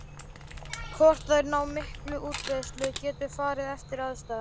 Hvort þær ná mikilli útbreiðslu getur farið eftir aðstæðum.